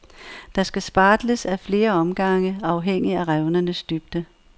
Der skal spartles ad flere omgange, afhængig af revnernes dybde.